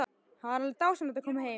Það var dásamlegt að koma heim.